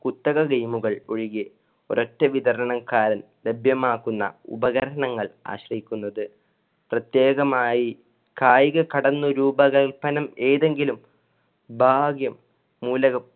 കുത്തക game കൾ ഒഴികെ ഒരൊറ്റ വിതരണക്കാരൻ ലഭ്യമാകുന്ന ഉപകരണങ്ങൾ ആശ്രയിക്കുന്നത്. പ്രതേകമായി കായിക കടന്നൊരു രൂപകല്പനം ഏതെങ്കിലും ഭാഗ്യം മൂലകം